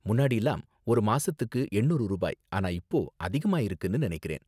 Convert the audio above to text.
முன்னாடிலாம் ஒரு மாசத்துக்கு எண்ணூறு ரூபாய் ஆனா இப்போ அதிகமாகியிருக்குனு நினைக்கிறேன்.